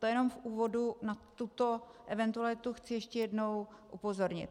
To jenom v úvodu na tuto eventualitu chci ještě jednou upozornit.